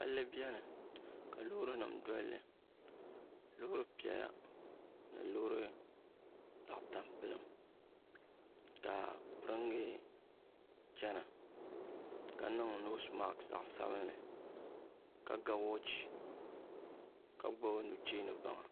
Palli biɛni ka loori nima dolli loori piɛla ni loori zaɣa tampilim ka piringa chena ka niŋ noosi maasi zaɣa sabinli ka ga woochi ka gbibi nucheeni baŋa.